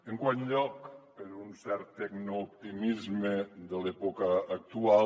en quart lloc per un cert tecnooptimisme de l’època actual